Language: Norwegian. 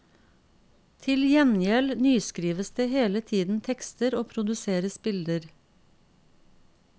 Til gjengjeld nyskrives det hele tiden tekster og produseres bilder.